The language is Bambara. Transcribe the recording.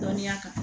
Dɔnniya kan